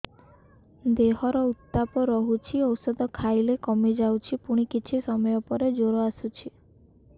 ଦେହର ଉତ୍ତାପ ରହୁଛି ଔଷଧ ଖାଇଲେ କମିଯାଉଛି ପୁଣି କିଛି ସମୟ ପରେ ଜ୍ୱର ଆସୁଛି